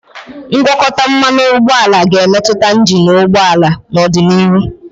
ngwakọta mmanụ ụgbọala ga-emetụta injin ụgbọ ala n'ọdịnihu.